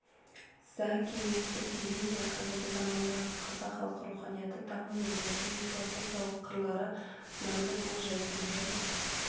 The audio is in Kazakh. за- кеңестік кезең мен қазіргі замандағы қазақ халқы руханияты дамуының мәдени-философиялық қырлары манды болжайтын және